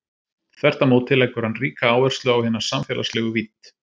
Þvert á móti leggur hann ríka áherslu á hina samfélagslegu vídd.